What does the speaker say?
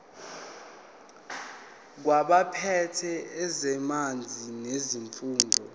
kwabaphethe ezamanzi nesifunda